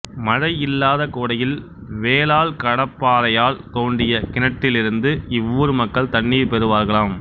மழை இல்லாத கோடையில் வேலால் கடப்பாறையால் தோண்டிய கிணற்றிலிருந்து இவ்வூர் மக்கள் தண்ணீர் பெறுவார்களாம்